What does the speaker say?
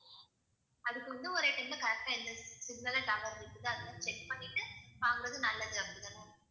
அதுக்கு வந்து ஒரே time ல correct ஆ எந்த signal அ tower இருக்குது அது மாதிரி check பண்ணிட்டு வாங்குறது நல்லது அப்படித்தான?